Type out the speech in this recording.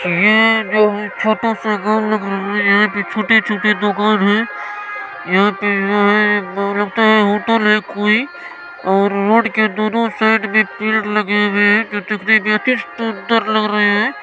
ये जो छोटे से गांव है यहां पे छोटे-छोटे दुकान है यहां पे जो है लगता है होटल है कोई और रोड के दोनो साइड में पेड़ लगे हुए हैं जो देखने मे अति सुंदर लग रहे हैं।